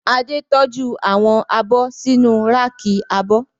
Adé tọ́jú àwọn abọ́ sínu ráàkì abọ́